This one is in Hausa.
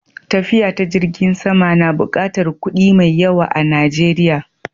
Tafiya ta jirgin sama na buƙatar kuɗi mai yawa a Najeriya.